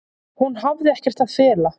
Hún hafi ekkert að fela.